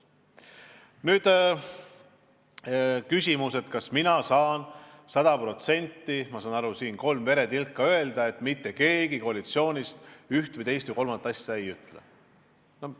Nüüd küsimus, kas mina saan anda kolm veretilka ja saja protsendi tõenäosusega kinnitada, et mitte keegi koalitsioonist üht või teist või kolmandat asja ei ütle.